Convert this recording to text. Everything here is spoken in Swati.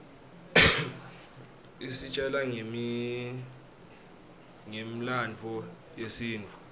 isitjela ngemlandvo yesintfu